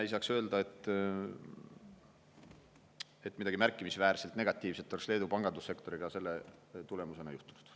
Ei saaks öelda, et midagi märkimisväärselt negatiivset oleks Leedu pangandussektoriga selle tulemusena juhtunud.